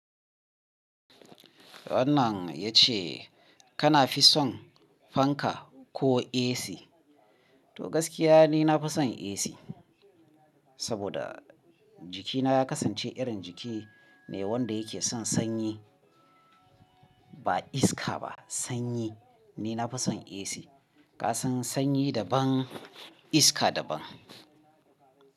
Wannan ya ce kana fi son fanka ko AC? To gaskiya ni na fi son AC, saboda jikina ya kasance irin jiki ne wanda yake son sanyi, ba iska ba, sanyi ni na fi son AC. Ka san sanyi daban iska daban.